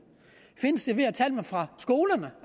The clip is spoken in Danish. findes de ved at tage dem fra skolerne